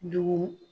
Dugu